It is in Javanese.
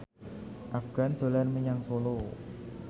Afgan dolan menyang Solo